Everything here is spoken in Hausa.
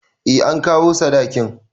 Eh an kawo sadakin